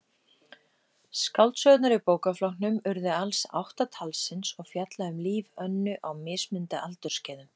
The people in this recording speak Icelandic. Skáldsögurnar í bókaflokknum urðu alls átta talsins og fjalla um líf Önnu á mismunandi aldursskeiðum.